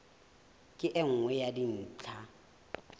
ke e nngwe ya dintlha